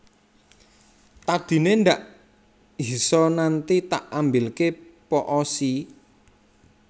Tadi ne ndak hisa nanti tak ambilke po o sii